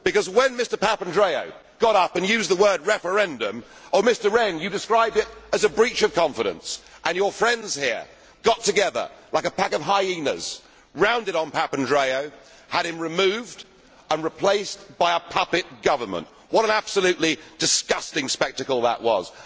When Mr Papandreou got up and used the word referendum', you, Mr Rehn, described it as a breach of confidence', and your friends here got together like a pack of hyenas, rounded on Papandreou, and had him removed and replaced by a puppet government. What an absolutely disgusting spectacle that was.